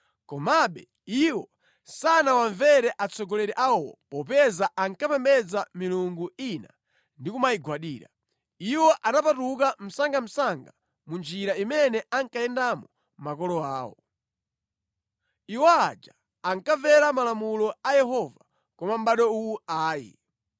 Komabe iwo sanawamvere atsogoleri awowo popeza ankapembedza milungu ina ndi kumayigwadira. Iwo anapatuka msangamsanga mu njira imene ankayendamo makolo awo. Iwo aja ankamvera malamulo a Yehova, koma mʼbado uwu ayi.